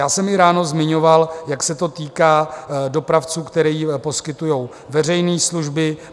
Já jsem i ráno zmiňoval, jak se to týká dopravců, kteří poskytují veřejné služby.